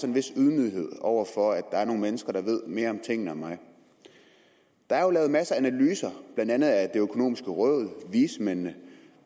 en vis ydmyghed over for at der er nogle mennesker der ved mere om tingene end mig der er jo lavet masser af analyser blandt andet af det økonomiske råd og vismændene